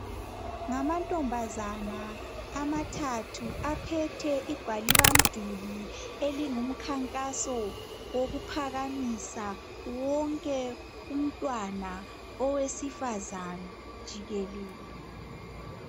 Ngamantombazana amathathu aphethe igwaliba mduli elingumkhankaso wokuphakamisa wonke umntwana owesifazana jikelele.